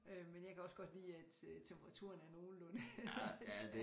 Øh men jeg kan også godt lide at temperaturerne er nogenlunde så